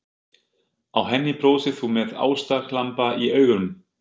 Á henni brosir þú með ástarglampa í augum.